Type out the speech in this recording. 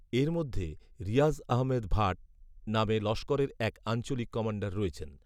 এর মধ্যেরিয়াজআহমেদ ভাট নামেলস্করেরএকআঞ্চলিক কমাণ্ডার রয়েছেন